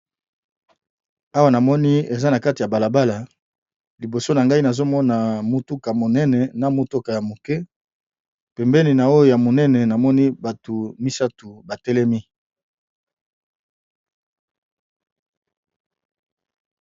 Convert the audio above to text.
Awa namoni eza na kati ya balabala liboso na ngai nazomona motuka monene na motuka ya moke pembeni na oyo ya monene namoni bato misato batelemi